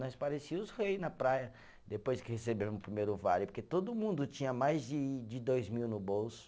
Nós parecia os rei na praia, depois que recebemos o primeiro vale, porque todo mundo tinha mais de de dois mil no bolso.